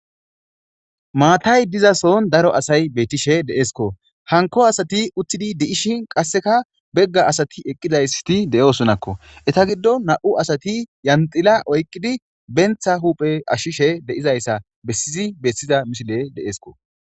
maatay diza soon daro asay bettishe de7eskko hanko asati uttidi de7ishin qasseka begga asati eqqidaysti de7oosonakko eta giddo na7u asati yanxila oyqqidi bentha huuphe ashishe de7izayssa bessizi bessiza misile de7esko